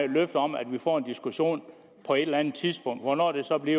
løfte om at vi får en diskussion på et eller andet tidspunkt hvornår det så bliver